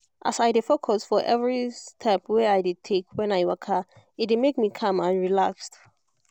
as i dey focus for every step wey i dey take when i waka e dey make me calm and relaxed